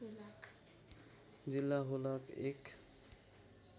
जिल्ला हुलाक १